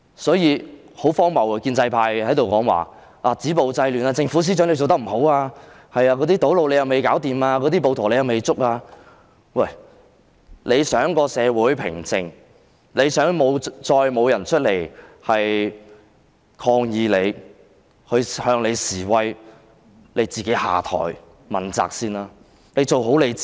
因此，很荒謬的是，建制派在此談論止暴制亂，批評政府及司長辦事不力，堵路未解決，暴徒亦未捉拿，但問題是，如果司長想社會平靜，不想再有人出來抗議示威，你便應首先自行問責下台，先做好自己。